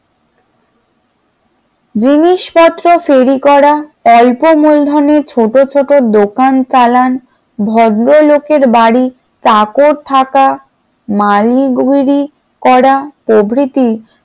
জিনিসপত্র ফেরি করা অল্প মূলধনের ছোট ছোট দোকান চালান ভদ্রলোকের বাড়ি চাকর থাকা মালিরগিরি করা প্রভৃতি,